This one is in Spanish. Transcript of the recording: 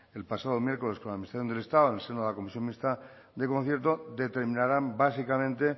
el pasado miércoles con la administración del estado en el seno de la comisión mixta de concierto determinarán básicamente